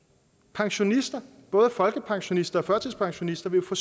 pensionisterne både folkepensionisterne og førtidspensionisterne vil få